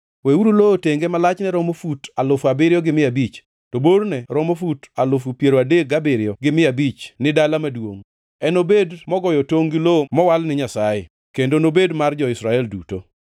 “ ‘Weuru lowo tenge ma lachne romo fut alufu abiriyo gi mia abich, to borne romo fut alufu piero adek gabiriyo gi mia abich ni dala maduongʼ, enobed mogoyo tongʼ gi lowo mowal ni Nyasayeno kendo nobed mar jo-Israel duto.